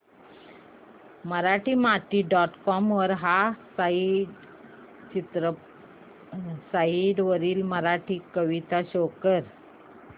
Marathimati dot com ह्या site वरील मराठी कविता शो कर